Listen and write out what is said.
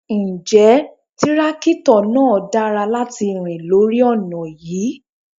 Ǹjẹ́ tírákítọ̀ náà dára láti rìn lórí ọ̀nà yí?